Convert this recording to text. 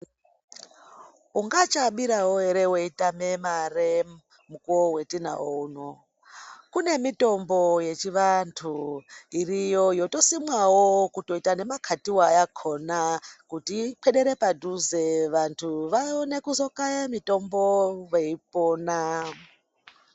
Ungachabirawo ere weitama mare mukuwo watinawo uno kune mitombo yechivantu iriyo yotosimwawo kutoitawo yemakatiwa yakona kuti ikwedere padhuze vantu vaone kuzokata mitombo Veipona.